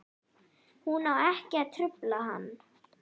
Hún á ekki að trufla hann.